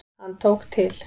Hann tók til.